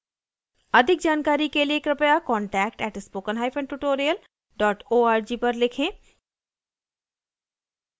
अधिक जानकारी के लिए कृपया contact @spokentutorial org पर लिखें